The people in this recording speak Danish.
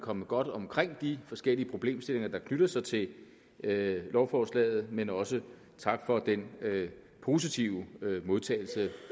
kommet godt omkring de forskellige problemstillinger der knytter sig til lovforslaget men også tak for den positive modtagelse